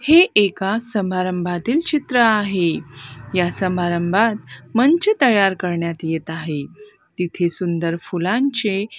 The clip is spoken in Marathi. हे एका समारंभातील चित्र आहे या समारंभात मंच तयार करण्यात येत आहे तिथे सुंदर फुलांचे--